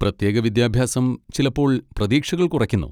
പ്രത്യേക വിദ്യാഭ്യാസം ചിലപ്പോൾ പ്രതീക്ഷകൾ കുറയ്ക്കുന്നു.